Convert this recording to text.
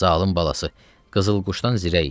Zalım balası, qızıl quşdan zirə idi.